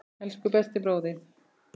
Elsku besti bróðir.